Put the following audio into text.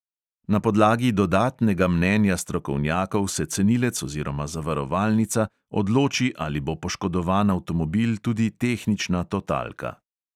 Na podlagi dodatnega mnenja strokovnjakov se cenilec oziroma zavarovalnica odloči, ali bo poškodovan avtomobil tudi tehnična totalka.